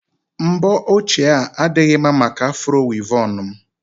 mbọ ochie a adịghị mma maka afro wịvọn m